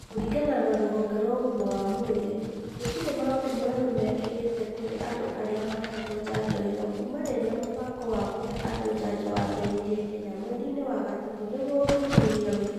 Kũringana na rũhonge rwa ũgima wa mwĩrĩ, gũtirĩ maũndu moru mekĩkĩte kũrĩ andũ arĩa maahetwo njanjo ĩo kuuma rĩrĩa mũbango wa kũhe andũ njanjo wambĩrĩrie Kenya mweri-inĩ wa gatatũ nĩgwo ũthuthuria wĩkwo.